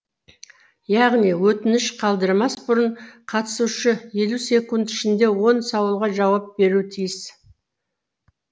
яғни өтініш қалдырмас бұрын қатысушы елу секунд ішінде он сауалға жауап беруі тиіс